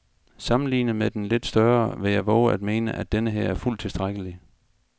Sammenlignet med den lidt større vil jeg vove at mene, at denneher er fuldt tilstrækkelig.